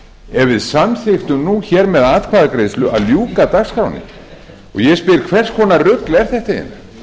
ef við samþykktum nú hér við atkvæðagreiðslu að ljúka dagskránni ég spyr hvers konar rugl er þetta eiginlega er ekki eðlilegt að